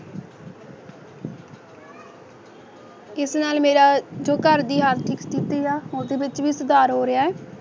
ਇਸ ਨਾਲ ਮੇਰਾ ਜੋ ਘਰ ਦੀ ਆਰਥਿਕ ਸਥਿਤੀ ਆ ਓਹਦੇ ਵਿਚ ਵੀ ਸੁਧਾਰ ਹੋ ਰਹੀਆਂ ਹੈ